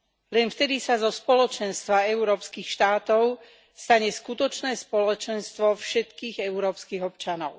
Len vtedy sa zo spoločenstva európskych štátov stane skutočné spoločenstvo všetkých európskych občanov.